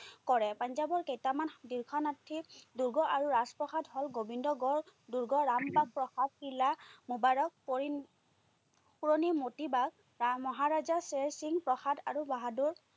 কৰে। পাঞ্জাৱৰ কেইটামান দীৰ্ঘনাসি দূৰ্গ আৰু ৰাজপ্ৰসাদ হল, গোবিন্দগড় দূৰ্গ, ৰামবা প্ৰসাদ কিল্লা, মোবাৰক, পৰি পুৰণি মতিবাগ বা মহাৰজা চেৰসিং প্ৰসাদ আৰু বাহাদুৰ